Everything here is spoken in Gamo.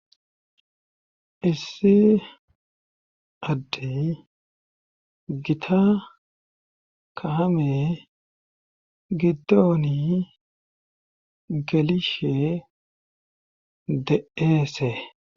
Issi adde gita kahame giddooni gelishe de7eese.